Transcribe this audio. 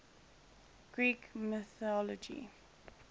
greek mythology